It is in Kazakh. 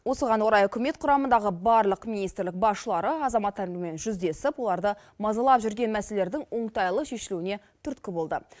осыған орай үкімет құрамындағы барлық министрлік басшылары азаматтармен жүздесіп оларды мазалап жүрген мәселелердің оңтайлы шешілуіне түрткі болды